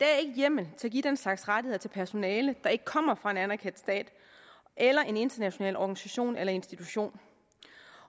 hjemmel til at give den slags rettigheder til personale der ikke kommer fra en anerkendt stat eller en international organisation eller institution